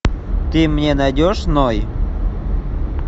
ты мне найдешь ной